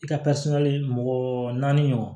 I ka mɔgɔ naani ɲɔgɔn